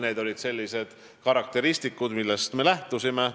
Need olid sellised karakteristikud, millest me lähtusime.